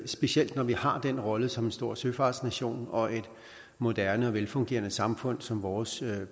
specielt når vi har den rolle som en stor søfartsnation og et moderne velfungerende samfund som vores